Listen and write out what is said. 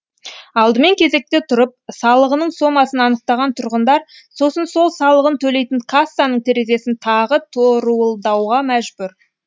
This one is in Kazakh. алдымен кезекте тұрып салығының сомасын анықтаған тұрғындар сосын сол салығын төлейтін кассаның терезесін тағы торуылдауға мәжбүр